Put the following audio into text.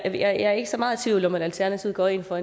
jeg er ikke så meget i tvivl om at alternativet går ind for